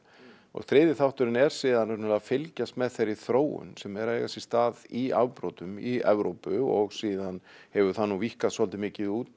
þriðji þátturinn er síðan að fylgjast með þeirri þróun sem er að eiga sér stað í afbrotum í Evrópu og síðan hefur það víkkað svolítið mikið út